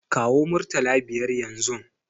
Kawo murtala biyar yanzun!